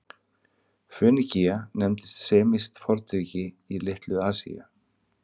Fönikía nefndist semískt fornríki í Litlu-Asíu.